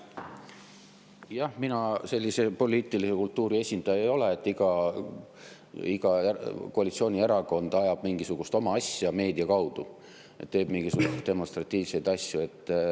Jah, mina sellise poliitilise kultuuri esindaja ei ole, et iga koalitsioonierakond ajab mingisugust oma asja meedia kaudu, teeb mingisuguseid demonstratiivseid asju.